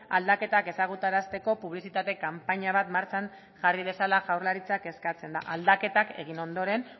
aldaketak ezagutarazteko publizitate kanpaina bat martxan jarri dezala jaurlaritzak eskatzen da aldaketak egin ondoren